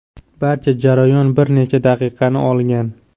Barcha jarayon bir necha daqiqani olgan.